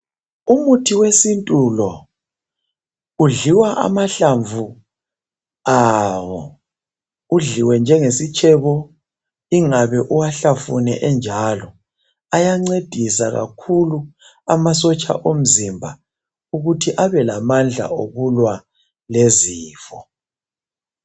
Umuthi wesintu lo udliwa amahlamvu awo udliwe njengesitshebo ingabe uwahlafune enjalo ayancedisa kakhulu amasotsha omzimba ukuthi abelamandla okulwa kwezifo.